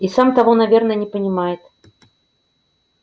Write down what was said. и сам того наверное не понимает